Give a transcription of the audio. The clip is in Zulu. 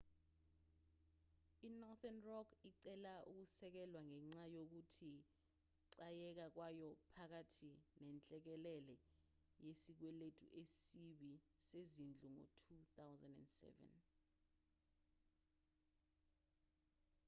inorthern rock icele ukusekelwa ngenxa yokuchayeka kwayo phakathi nenhlekelele yesikweletu esibi sezindlu ngo-2007